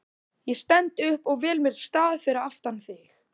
Ég stend upp og vel mér stað fyrir aftan þig.